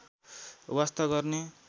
वास्ता गर्ने